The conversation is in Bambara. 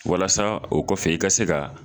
Walasa o kɔfɛ, i ka se ka